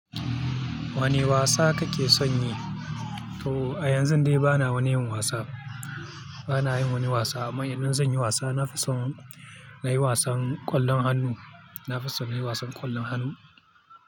Wane wasa kake son yi? To a yanzun dai bana wani yin wasa, bana yin wani wasa. Amma idan zan yi wasa na fi son na yi wasan kwallon hannu, na fi son na yi wasan kwallon hannu.